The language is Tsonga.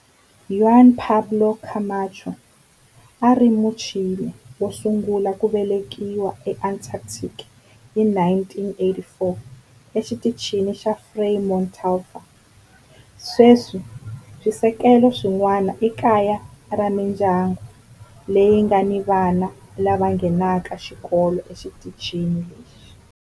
Juan Pablo Camacho a a ri Muchile wo sungula ku velekiwa eAntarctica hi 1984 eXitichini xa Frei Montalva. Sweswi swisekelo swin'wana i kaya ra mindyangu leyi nga ni vana lava nghenaka xikolo exitichini lexi.